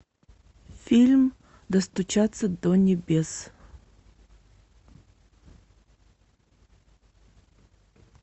фильм достучаться до небес